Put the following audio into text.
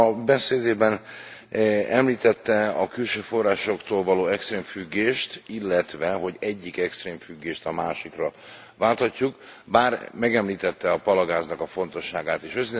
A beszédében említette a külső forrásoktól való extrém függést, illetve hogy egyik extrém függést a másikra válthatjuk, bár megemlítette a palagáznak a fontosságát is.